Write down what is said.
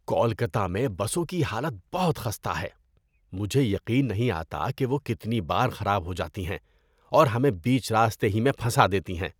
کولکتہ میں بسوں کی حالت بہت خستہ ہے! مجھے یقین نہیں آتا کہ وہ کتنی بار خراب ہو جاتی ہیں اور ہمیں بیچ راستے ہی میں پھنسا دیتی ہیں۔